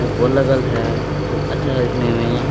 लगल है बहुत अच्छा दिखने में।